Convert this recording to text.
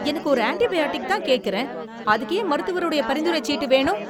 எனக்கு ஒரு ஆன்டிபயாடிக்தான் கேக்குறேன். அதற்கு ஏன் மருத்துவருடைய பரிந்துரைச் சீட்டு வேணும்?